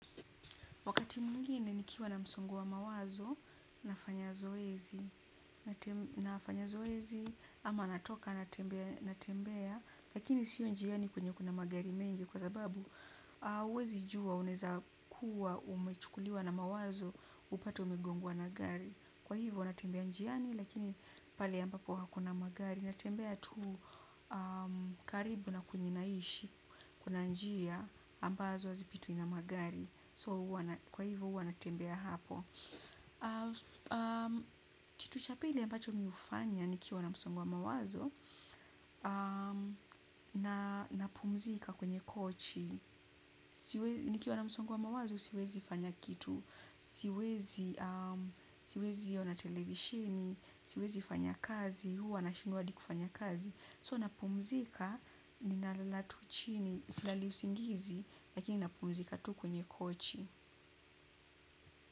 Wakati mwingine nikiwa na msongo wa mawazo, nafanya zoezi nafanya zoezi, ama natoka natembea, lakini sio njiani kwenye kuna magari mengi kwa sababu huwezi jua unaweza kuwa umechukuliwa na mawazo upate umegongwa na gari. Kwa hivyo natembea njiani lakini pale ambapo hakuna magari. Natembea tu karibu na kwenye naishi kuna njia ambazo hazipitwi na magari. Kwa hivyo huwa natembea hapo. Kitu cha pili ambacho mi hufanya nikiwa na msongo wa mawazo napumzika kwenye kochi. Nikiwa na msongo mawazo siwezi fanya kitu, siwezi. Siwezi ona televishini, siwezi fanya kazi, huwa nashindwa hadi kufanya kazi. So napumzika ninalala tu chini. Silali usingizi lakini napumzika tu kwenye kochi.